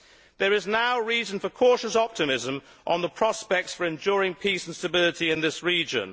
There is now reason for cautious optimism on the prospects of enduring peace and stability in this region.